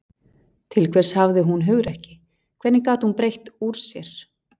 Til hvers hafði hún hugrekki, hvernig gat hún breitt úr sér.